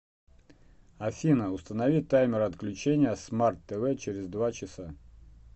афина установи таймер отключения смарт тв через два часа